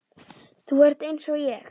Þú ert einsog ég.